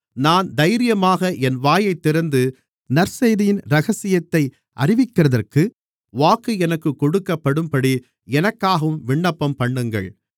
நான் தைரியமாக என் வாயைத் திறந்து நற்செய்தியின் இரகசியத்தை அறிவிக்கிறதற்கு வாக்கு எனக்குக் கொடுக்கப்படும்படி எனக்காகவும் விண்ணப்பம்பண்ணுங்கள்